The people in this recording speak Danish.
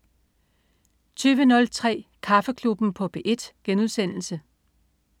20.03 Kaffeklubben på P1*